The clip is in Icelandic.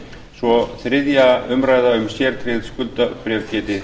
svo þriðja umræða um sérgreind skuldabréf geti